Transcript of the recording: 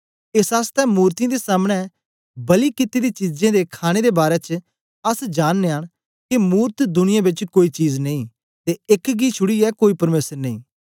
एस आसतै मूर्तियें दे सामने बलि कित्ती दी चीजें दे खाणे दे बारै च अस जाननयां न के मूरत दुनिया बेच कोई चीज नेई ते एक गी छुड़ीयै कोई परमेसर नेई